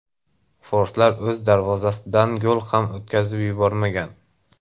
Forslar o‘z darvozasidan gol ham o‘tkazib yubormagan.